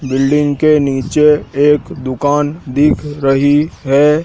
Building के नीचे एक दुकान दिख रही है।